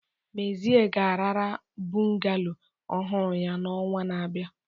Mezie ga-arara bungalow ọhụrụ ya n'ọnwa na-abịa.